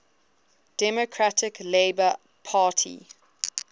democratic labour party